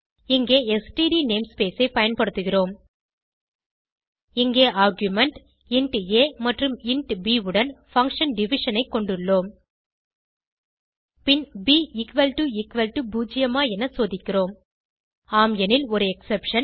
இங்கே std namespace ஐ பயன்படுத்துகிறோம் இங்கே ஆர்குமென்ட் இன்ட் ஆ மற்றும் இன்ட் ப் உடன் பங்ஷன் டிவிஷன் ஐ கொண்டுள்ளோம் பின் ப் 0 ஆ என சோதிக்கிறோம் ஆம் எனில் ஒரு எக்ஸெப்ஷன்